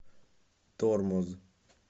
тормоз